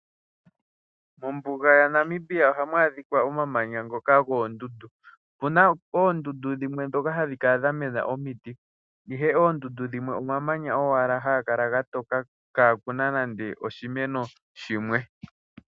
Mombuga ya Namibia ohaku adhika omamanya ngoka goondundu opuna oondundu ndhokà hadhi kala dha mena omiti, ihe oondundu dhimwe omamanya owala haga kala ga toka kaakuna nande ishimeno shimwe